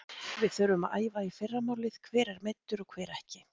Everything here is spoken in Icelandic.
Við þurfum að æfa í fyrramálið, hver er meiddur og hver ekki?